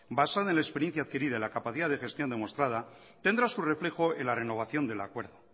basada en la experiencia adquirida y en la capacidad de gestión demostrada tendrá su reflejo en la renovación del acuerdo